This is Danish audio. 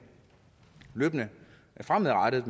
fremadrettet